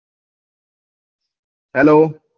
Hello